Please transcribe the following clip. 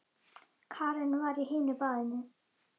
Karen var á hinu baðinu.